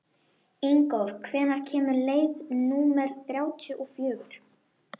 Ingþór, hvenær kemur leið númer þrjátíu og fjögur?